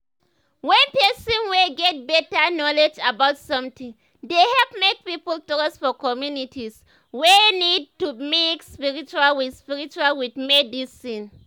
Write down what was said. when person whey get better knowledge about something dey help make people trust for communities whey need to mix spiritual with spiritual with medicine.